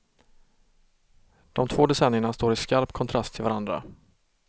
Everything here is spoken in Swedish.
De två decennierna står i skarp kontrast till varandra.